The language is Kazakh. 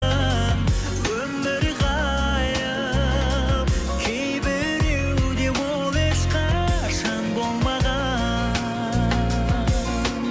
өмір ғайып кейбіреуде ол ешқашан болмаған